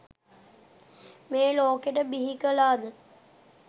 මේ ලෝකෙට බිහි කලා ද?